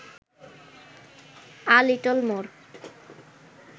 a little more